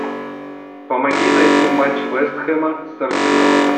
помоги найти матч вест хэма с арсеналом